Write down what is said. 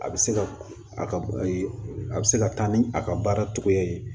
A bɛ se ka a ka a bɛ se ka taa ni a ka baara cogoya ye